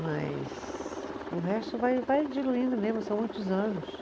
Mas o resto vai vai diluindo mesmo, são muitos anos.